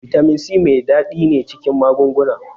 Bitamin C mai ɗadi ne cikin magunguna.